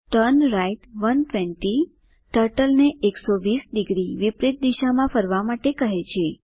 turn right 120 ટર્ટલને 120 degree વિપરિત દિશામાં ફરવા માટે કહે છે